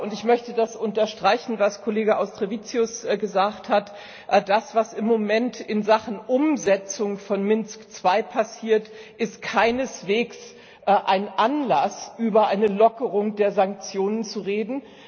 Und ich möchte das unterstreichen, was Kollege Auštrevičius gesagt hat Das, was im Moment in Sachen Umsetzung von Minsk II passiert, ist keineswegs ein Anlass, über eine Lockerung der Sanktionen zu reden